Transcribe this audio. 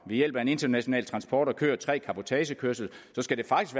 ved hjælp af en international transport har kørt tre cabotagekørsler